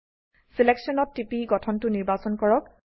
selection ত TP গঠনটো নিৰ্বাচন কৰক